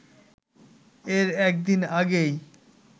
এর একদিন আগেই